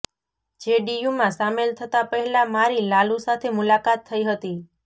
જેડીયુમાં સામેલ થતાં પહેલાં મારી લાલુ સાથે મુલાકાત થઈ હતી